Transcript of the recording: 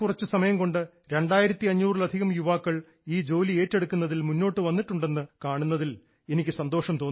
വളരെ കുറച്ചു സമയം കൊണ്ട് 2500 ലധികം യുവാക്കൾ ഈ ജോലി ഏറ്റെടുക്കുന്നതിൽ മുന്നോട്ട് വന്നിട്ടുണ്ടെന്ന് കാണുന്നതിൽ എനിക്ക് സന്തോഷം തോന്നുന്നു